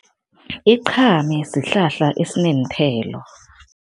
Iqhame sihlahla esineenthelo.